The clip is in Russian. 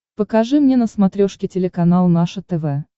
покажи мне на смотрешке телеканал наше тв